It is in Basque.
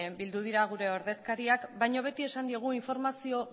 bildu dira gure ordezkariak baino beti esan diogu informazio